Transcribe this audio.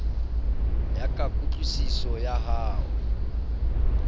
ya ka kutlwisiso ya hao